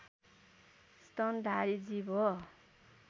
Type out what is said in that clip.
स्तनधारी जीव हो